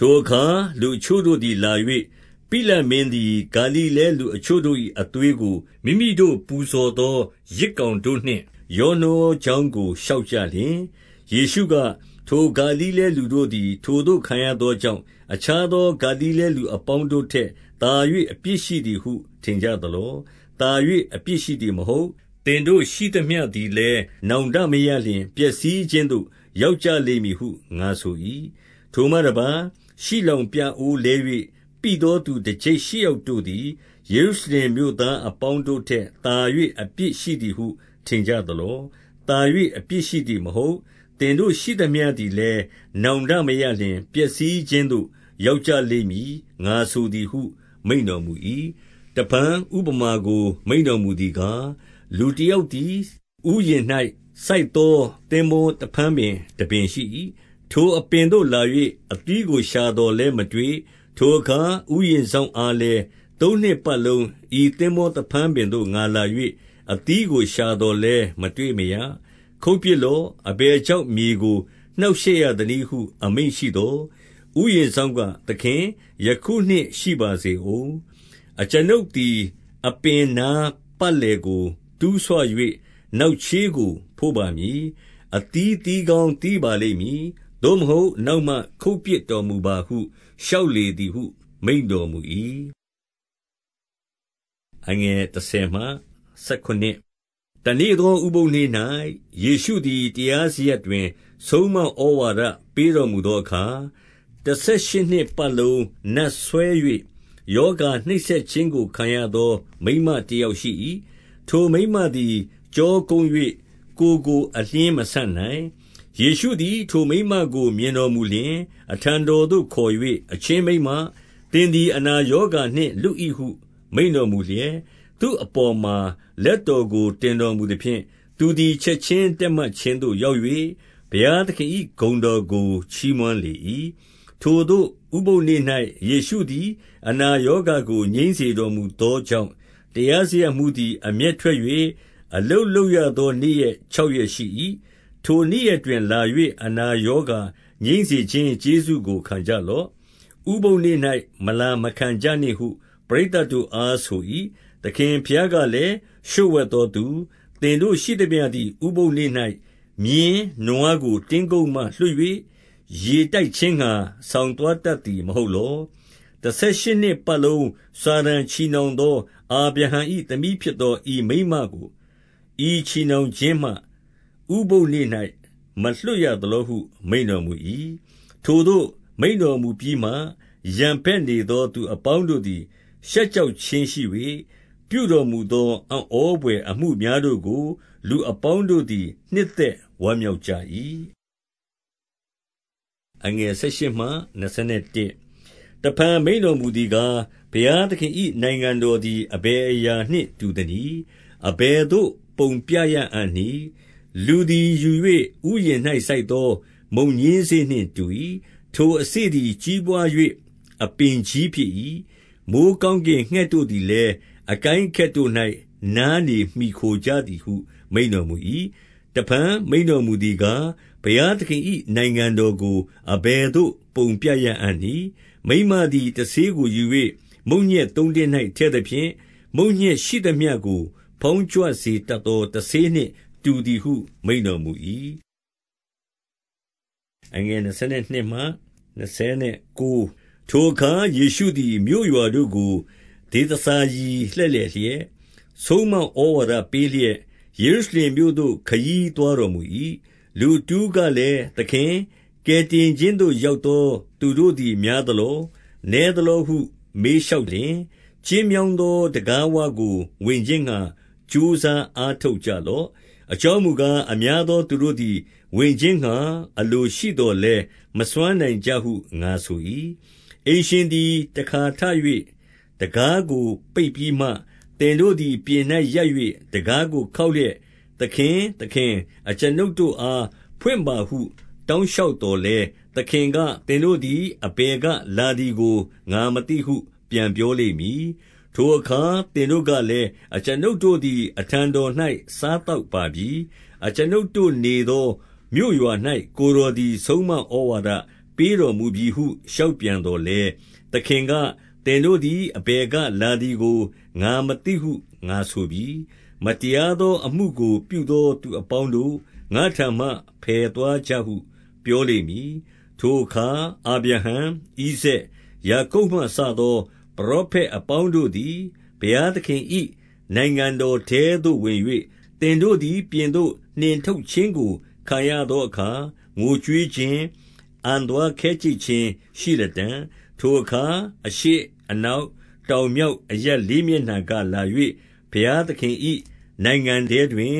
ထိုအခါ လူအချို့တို့သည်လာ၍၊ ပိလတ်မင်းသည် ဂါလိလဲလူအချို့တို့၏အသွေးကို မိမိတို့ ပူဇော် သော ယဇ်ကောင်တို့နှင့် ရောနှောကြောင်းကို လျှောက်ကြလျှင်၊ 2 ယေရှုက၊ ထိုဂါလိလဲလူတို့သည် ထိုသို့ခံရသောကြောင့်၊ အခြားသော ဂါလိလဲလူအပေါင်းတို့ထက် သာ၍ အပြစ်ရှိသည်ဟု ထင်ကြသလော။ 3 သာ၍ အပြစ်ရှိသည်မဟုတ်။ သင်တို့ရှိသမျှသည်လည်း နောင်တမရလျှင် ပျက်စီးခြင်းသို့ရောက်ကြ လိမ့်မည်ဟု ငါဆို၏။ 4 ထိုမှတပါး၊ ရှိလောင်ပြအိုးလဲ၍ ပိသောသူ တကျိပ်ရှစ်ယောက်တို့သည် ယေရုရှလင်မြို့သားအပေါင်း တို့ထက်သာ၍ အပြစ်ရှိသည်ဟု ထင်ကြသလော။ 5 သာ၍အပြစ်ရှိသည်မဟုတ်။ သင်တို့ ရှိသမျှသည်လည်း နောင်တမရလျှင် ပျက်စီးခြင်းသို့ရောက်ကြ လိမ့်မည်။ ငါဆိုသည်ဟု မိန့်တော်မူ၏။ 6 တဖန် ဥပမာကို မိန့်တော်မူသည်ကား၊ လူတယောက်သည် ဥယျာဉ်၌စိုက်သော သင်္ဘောသဖန်းပင် တ ပင်ရှိ၏။ ထိုအပင်သို့ လာ၍ အသီးကိုရှာသော်လည်းမတွေ့။ 7 ထိုအခါ ဥယျာဉ်စောင့်အားလည်း၊ သုံးနှစ်ပတ်လုံး ဤသင်္ဘောသဖန်းပင်သို့ ငါလာ၍ အသီးကို ရှာသော်လည်း မတွေ့မရ။ ခုတ်ပစ်လော့။ အဘယ်ကြောင့် မြေကိုနှောင့်ရှက်ရသနည်းဟု အမိန့်ရှိသော်၊ ဥယျာဉ်စောင့်က၊ သခင်၊ ယခုနှစ်ရှိပါစေဦး။ 8 အကျွန်ုပ်သည် အပင်နားပတ်လည်ကို တူးဆွ၍ နောက်ချေးကို ဖို့ပါမည်။ 9 အသီးသီးကောင်း သီးပါလိမ့်မည်။ သို့မဟုတ် နောက်မှ ခုတ်ပစ်တော်မူပါဟု လျှောက်လေသည်ဟု မိန့် တော်မူ၏။ 10 တနေ့သော ဥပုသ်နေ့၌ ယေရှုသည် တရားစရပ်တွင် ဆုံးမဩဝါဒပေးတော်မူသောအခါ၊ 11 တဆယ်ရှစ်နှစ်ပတ်လုံး နတ်စွဲ၍ရောဂါနှိပ်စက်ခြင်းကို ခံရသော မိန်းမတယောက်ရှိ၏။ ထိုမိန်းမသည် ကျောကုန်း၍ ကိုယ်ကို အလျှင်းမဆန့်နိုင်။ 12 ယေရှုသည် ထိုမိန်းမကို မြင်တော်မူလျှင် အထံတော်သို့ခေါ်၍၊ အချင်းမိန်းမ၊ သင်သည် အနာရောဂါ နှင့် လွတ်၏ဟု မိန့်တော်မူလျက်၊ 13 သူ့အပေါ်မှာလက်တော်ကို တင်တော်မူသဖြင့်၊ သူသည် ချက်ခြင်းတည့်မတ်ခြင်းသို့ရောက်၍ ဘုရား သခင်၏ ဂုဏ်တော်ကို ချီးမွမ်းလေ၏။ 14 ထိုသို့ ဥပုသ်နေ့၌ ယေရှုသည် အနာရောဂါကိုငြိမ်းစေတော်မူသောကြောင့် တရားစရပ်မှူးသည် အမျက်ထွက်၍၊ အလုပ်လုပ်ရသော နေ့ရက်ခြောက်ရက်ရှိ၏။ ထိုနေ့ရက်တွင်လာ၍ အနာရောဂါငြိမ်းစေခြင်း ကျေးဇူးကို ခံကြလော့။ ဥပုသ်နေ့၌ မလာမခံကြနှင့်ဟု ပရိသတ်တို့အားဆို၏။ 15 သခင်ဘုရားကလည်း၊ လျှို့ဝှက်သောသူ၊ သင်တို့ရှိသမျှသည် ဥပုသ်နေ့၌ မြင်း၊ နွားကို တင်းကုပ်မှ လွှတ်၍ ရေတိုက်ခြင်းငှါ ဆောင်သွားတတ်သည် မဟုတ်လော။ 16 တဆယ်ရှစ်နှစ်ပတ်လုံးစာတန်ချည်နှောင်သော အာဗြဟံ၏သမီးဖြစ်သော ဤမိန်းမကို ဤချည်နှောင် ခြင်းမှ ဥပုသ်နေ့၌ မလွှတ်ရသလောဟု မိန့်တော်မူ၏။ 17 ထိုသို့ မိန့်တော်မူပြီးမှ ရန်ဘက်နေသော သူအပေါင်းတို့သည် နှစ်သက်ဝမ်းမြောက်ကြ၏။ 18 တဖန် မိန့်တော်မူသည်ကား၊ ဘုရားသခင်၏ နိုင်ငံတော်သည် အဘယ်အရာနှင့် တူသနည်း။ အဘယ် သို့ ပုံပြရအံ့နည်း။ 19 လူသည် ယူ၍ ဥယျာဉ်၌စိုက်သော မုန်ညင်းစေ့နှင့်တူ၏။ ထိုအစေ့သည် ကြီးပွား၍ အပင်ကြီးဖြစ်၏။ မိုဃ်းကောင်းကင်ငှက်တို့သည်လည်း အကိုင်းအခက်တို့၌ နားနေမှီခိုကြသည်ဟု မိန့်တော်မူ၏။ 20 တဖန် မိန့်တော်မူသည်ကား၊ ဘုရားသခင်၏ နိုင်ငံတော်ကို အဘယ်သို့ပုံပြရအံ့နည်း။ 21 မိန်းမသည် တဆေးကိုယူ၍ မုန့်ညက်သုံးတင်း၌ထည့်သဖြင့်၊ မုန့်ညက်ရှိသမျှကို ဖောင်းကြွစေတတ် သော တဆေးနှင့်တူသည်ဟု မိန့်တော်မူ၏။ 22 ထိုအခါ ယေရှုသည် မြို့ရွာတို့ကို ဒေသစာရီလှည့်လည်လျက်၊ ဆုံးမဩဝါဒပေးလျက်၊ ယေရုရှလင်မြို့ သို့ ခရီးသွားတော်မူ၏။ 23 လူတဦးကလည်း၊ သခင်၊ ကယ်တင်ခြင်းသို့ ရောက်သောသူတို့သည် များသလော၊ နည်းသလောဟု မေးလျှောက်လျှင်၊ 24 ကျဉ်းမြောင်းသောတံခါးဝကို ဝင်ခြင်းငှါ ကြိုးစားအားထုတ်ကြလော့။ အကြောင်းမူကား၊ အများသော သူတို့သည် ဝင်ခြင်းငှါအလိုရှိသော်လည်း မစွမ်းနိုင်ကြဟု ငါဆို၏။ 25 အိမ်ရှင်သည် တခါထ၍ တံခါးကို ပိတ်ပြီးမှ၊ သင်တို့သည် ပြင်၌ရပ်၍ တံခါးကိုခေါက်လျက်၊ သခင်၊ သခင်၊ အကျွန်ုပ်တို့အားဖွင့်ပါဟု တောင်းလျှောက်သော်လည်း၊ သခင်က၊ သင်တို့သည် အဘယ်ကလာသည်ကို ငါမသိဟု ပြန်ပြောလိမ့်မည်။ 26 ထိုအခါ သင်တို့ကလည်း၊ အကျွန်ုပ်တို့သည် အထံတော်၌ စားသောက်ပါပြီ။ အကျွန်ုပ်တို့နေသော မြို့ ရွာ၌ ကိုယ်တော်သည် ဆုံးမဩဝါဒပေးတော်မူပြီဟု လျှောက်ပြန်သော်လည်း၊ 27 သခင်က၊ သင်တို့သည် အဘယ်ကလာသည်ကို ငါမသိဟု ငါဆိုပြီ။ မတရားသောအမှုကိုပြုသော သူ အပေါင်းတို့၊ ငါ့ထံမှ ဖယ်သွားကြဟု ပြောလိမ့်မည်၊ 28 ထိုအခါ အာဗြဟံ၊ ဣဇာက်၊ ယာကုပ်မှစသော ပရောဖက်အပေါင်းတို့သည် ဘုရားသခင်၏ နိုင်ငံတော် ထဲသို့ ဝင်၍၊ သင်တို့သည် ပြင်သို့ နှင်ထုတ်ခြင်းကို ခံရသောအခါငိုကြွေးခြင်း၊ အံသွားခဲကြိတ်ခြင်းရှိလတံ့။ 29 ထိုအခါ အရှေ့အနောက်တောင်မြောက်အရပ် လေးမျက်နှာကလာ၍ ဘုရားသခင်၏ နိုင်ငံတော်ထဲ တွင်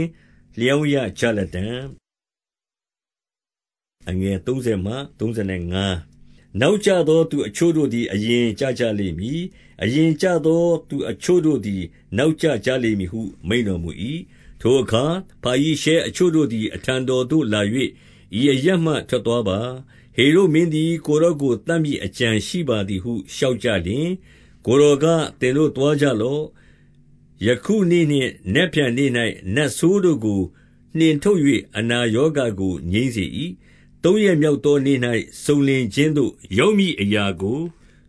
လျောင်းရကြလတံ့။ 30 နောက်ကျသောသူအချို့တို့သည် အရင်ကျကြလိမ့်မည်။ အရင်ကျသောသူအချို့တို့သည် နောက်ကျ ကြလိမ့်မည်ဟု မိန့်တော်မူ၏။ 31 ထိုအခါ ဖာရိရှဲအချို့တို့သည် အထံတော်သို့လာ၍၊ ဤအရပ်မှ ထွက်သွားပါ။ ဟေရုဒ်မင်းသည် ကိုယ် တော်ကိုသတ်မည် အကြံရှိပါသည်ဟု လျှောက်ကြလျှင်၊ ကိုယ်တော်က၊ သင်တို့သွားကြလော့။ 32 ယခုနေ့နှင့် နက်ဖြန်နေ့၌ နတ်ဆိုးတို့ကိုနှင်ထုတ်၍ အနာရောဂါကိုငြိမ်းစေ၏။ သုံးရက်မြောက်သော နေ့၌ စုံလင်ခြင်းသို့ ရောက်မည်အရာကို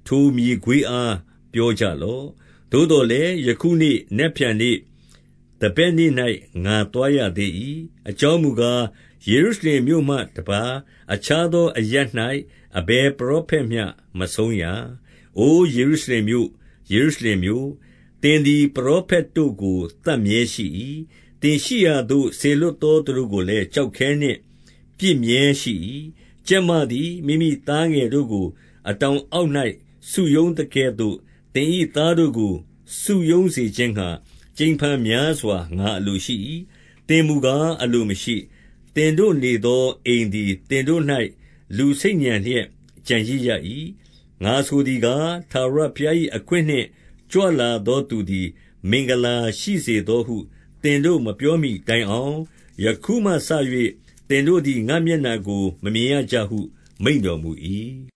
ထိုမြေခွေးအား ပြောကြလော့။ 33 သို့သော်လည်း ယခုနေ့၊ နက်ဖြန်နေ့၊ သန်ဘက်နေ့၌ ငါသွားရသေး၏။ အကြောင်းမူကား၊ ယေရုရှလင် မြို့မှတပါး အခြားသောအရပ်၌ အဘယ်ပရောဖက်မျှ မဆုံးရာ။ 34 အိုယေရုရှလင်မြို့၊ ယေရုရှလင်မြို့၊ သင်သည် ပရောဖက်တို့ကိုသတ်မြဲရှိ၏။ သင်ရှိရာသို့ စေလွှတ် သောသူတို့ကိုလည်း ကျောက်ခဲနှင့်ပစ်မြဲရှိ၏။ ကြက်မသည် မိမိသားငယ်တို့ကို အတောင်အောက်၌ စုရုံးသကဲ့ သို့ သင်၏သားတို့ကို စုရုံးစေခြင်းငှါ ကြိမ်ဖန်များစွာ ငါအလိုရှိ၏။ သင်မူကား အလိုမရှိ။ 35 သင်တို့နေသောအိမ်သည် သင်တို့၌ လူဆိတ်ညံလျက်ကျန်ရစ်ရ၏။ ငါဆိုသည်ကား၊ ထာဝရဘုရား၏ အခွင့်နှင့်ကြွလာသောသူသည် မင်္ဂလာရှိစေသောဟု သင်တို့မပြောမှီတိုင်အောင် ယခုမှစ၍ သင်တို့သည် ငါ့ မျက်နှာကို မမြင်ရကြဟု မိန့်တော်မူ၏